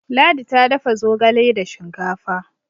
ladi ta dafa zogale da shinkafa